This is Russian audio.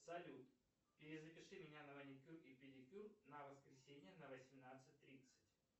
салют перезапиши меня на маникюр и педикюр на воскресенье на восемнадцать тридцать